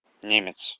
немец